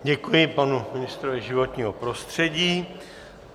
Děkuji panu ministrovi životního prostředí.